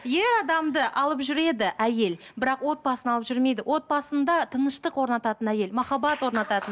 ер адамды алып жүреді әйел бірақ отбасын алып жүрмейді отбасында тыныштық орнататын әйел махаббат орнататын